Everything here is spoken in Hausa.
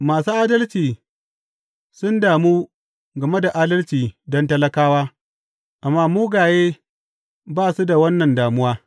Masu adalci sun damu game da adalci don talakawa, amma mugaye ba su da wannan damuwa.